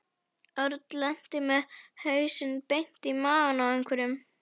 Örn lenti með hausinn beint í magann á einhverjum.